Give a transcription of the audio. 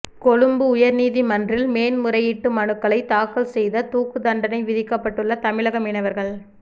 கொழும்பு உயர்நீதிமன்றில் மேன் முறையீட்டு மனுக்களைத் தாக்கல் செய்த தூக்குத் தண்டனை விதிக்கப்பட்டுள்ள தமிழக மீனவர்கள்